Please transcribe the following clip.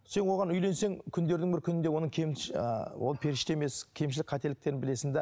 сен оған үйленсең күндердің бір күнінде оның ыыы ол періште емес кемшілік қателіктерін білесің де